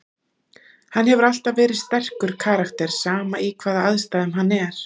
Hann hefur alltaf verið sterkur karakter, sama í hvaða aðstæðum hann er.